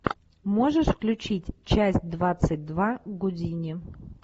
можешь включить часть двадцать два гудини